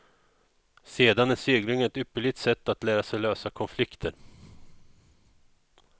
Sedan är segling ett ypperligt sätt att lära sig lösa konflikter.